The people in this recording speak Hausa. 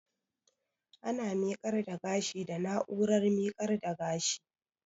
Ana miƙar da gashi da na'urar miƙar da gashi